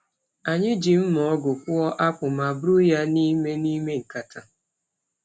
Anyị ji mma ọgụ kpụọ akpụ ma buru ya n’ime n’ime nkata.